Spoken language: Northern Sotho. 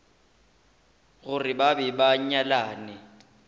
gore ba be ba nyalane